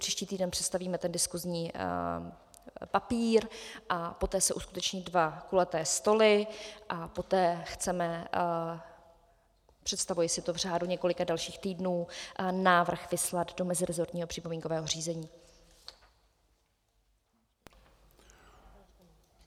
Příští týden představíme ten diskusní papír a poté se uskuteční dva kulaté stoly a poté chceme, představuji si to v řádu několika dalších týdnů, návrh vyslat do mezirezortního připomínkového řízení.